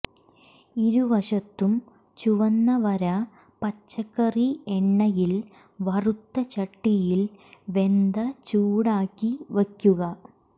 ഇരുവശത്തും ചുവന്ന വരെ പച്ചക്കറി എണ്ണയിൽ വറുത്ത ചട്ടിയിൽ വെന്ത ചൂടാക്കി വയ്ക്കുക